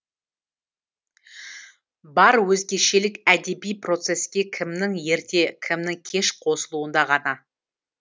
бар өзгешелік әдеби процеске кімнің ерте кімнің кеш қосылуында ғана